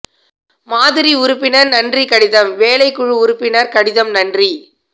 மாதிரி உறுப்பினர் நன்றி கடிதம் வேலை குழு உறுப்பினர் கடிதம் நன்றி